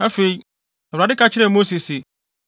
Afei, Awurade ka kyerɛɛ Mose se,